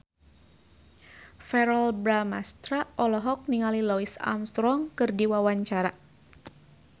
Verrell Bramastra olohok ningali Louis Armstrong keur diwawancara